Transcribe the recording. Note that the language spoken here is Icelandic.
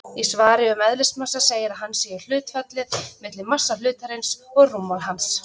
Í svari um eðlismassa segir að hann sé hlutfallið milli massa hlutarins og rúmmáls hans.